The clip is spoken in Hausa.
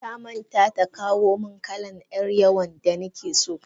Tamanta ta kawomin kalan yar yawon da nakeso.